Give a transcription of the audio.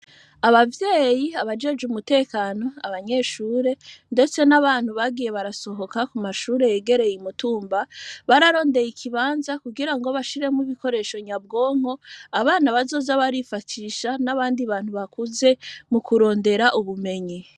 Abavyeyi, abajejw'umutekano ,abanyeshure, ndetse n'abantu bagiye barasohoka ku masgure yegereye imutumba, bararondeye ikibanza kugirango bashiremwo ibikoresho nyabwonko abana bazoze barifashisha, n'abandi bantu bakuze mukurondera ubumenyi.